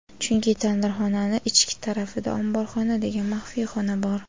Chunki tandirxonani ichki tarafida "omborxona" degan maxfiy xona bor.